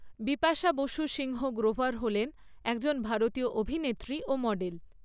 বিপাশা বসু সিংহ গ্রোভার হলেন একজন ভারতীয় অভিনেত্রী ও মডেল।